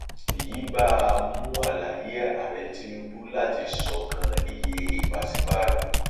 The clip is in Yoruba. èyí bà á mu àlàyé aàrẹ tinubu láti ṣọkan iye pàṣípààrọ